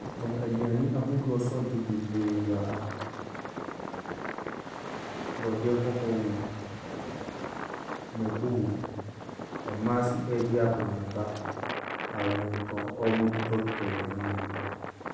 Tɔn aduane hodoɔ asɔɔtow bebree wɔ ha. Borɔdeɛ kɔkɔɔ wɔ mu, mako wɔ mu, mmaa nso rɛedi akɔneaba a wɔn ntɔ wɔn retotɔtotɔ aduane no bi.